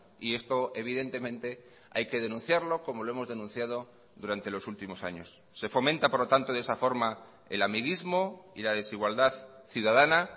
y esto evidentemente hay que denunciarlo como lo hemos denunciado durante los últimos años se fomenta por lo tanto de esa forma el amiguismo y la desigualdad ciudadana